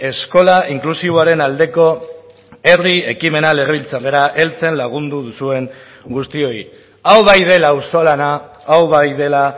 eskola inklusiboaren aldeko herri ekimena legebiltzarrera heltzen lagundu duzuen guztioi hau bai dela auzolana hau bai dela